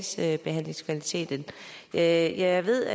sagsbehandlingskvaliteten jeg jeg ved